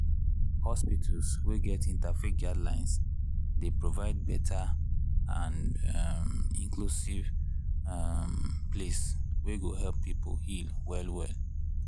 hospitals wey get interfaith guidelines dey provide better and um inclusive um place wey go help people heal well well.